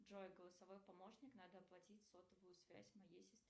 джой голосовой помощник надо оплатить сотовую связь моей сестре